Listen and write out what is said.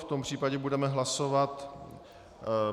V tom případě budeme hlasovat.